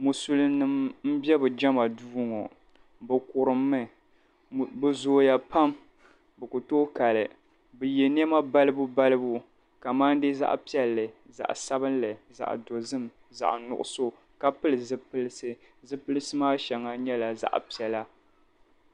Muslim bɛ be jɛma duu ŋɔ bɛ kurimi bɛ zooya Pam bi Ku tooi kali bɛ ye nema balibu baliba kamadi zaɣ'piɛlli zaɣ'sabinli zaɣ'dozim zaɣ'nuɣiso ka pili zupilisi zupilisi maa shɛŋa nyɛla zaɣ'piɛlli